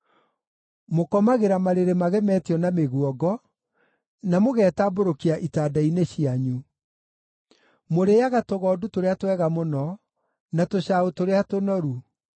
Mũkomagĩra marĩrĩ magemetio na mĩguongo, na mũgetambũrũkia itanda-inĩ cianyu. Mũrĩĩaga tũgondu tũrĩa twega mũno, na tũcaũ tũrĩa tũnoru.